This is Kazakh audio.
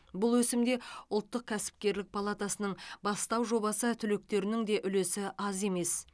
бұл өсімде ұлттық кәсіпкерлік палатасының бастау жобасы түлектерінің де үлесі аз емес